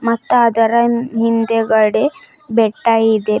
ಮತ್ತ ಅದರ ಹಿಂದಗಡೆ ಬೆಟ್ಟ ಇದೆ.